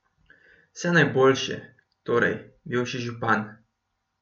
Vse najboljše, torej, bivši župan!